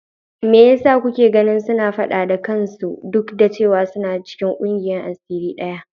Me yasa kuke ganin suna fada da kansu duk da cewa suna cikin kungiyar asiri daya?